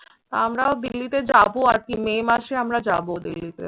আমরাও দিল্লিতে যাবো আরকি। may মাসে আমরা যাবো দিল্লিতে।